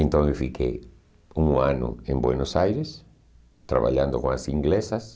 Então eu fiquei um ano em Buenos Aires, trabalhando com as inglesas.